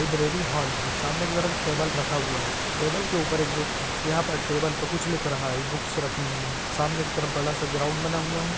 Library hall है सामने ई तरफ टेबुल रखा हुआ है टेबल के ऊपर एक वेक्ती टेबल पे कुछ लिख रहा है बुक्स राखी हुई है सामने की तरफ बड़ा सा ग्राउंड बना हुआ है।